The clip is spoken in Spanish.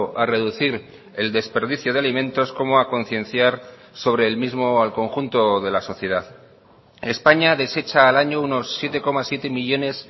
a reducir el desperdicio de alimentos como a concienciar sobre el mismo al conjunto de la sociedad españa desecha al año unos siete coma siete millónes